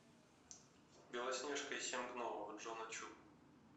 белоснежка и семь гномов джона чу